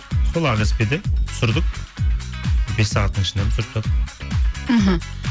сол ақеспеде түсірдік бес сағаттың ішінде түсіріп тастадық іхі